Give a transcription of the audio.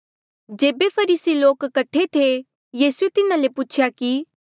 जेबे फरीसी लोक कठे थे यीसूए तिन्हा ले पूछेया कि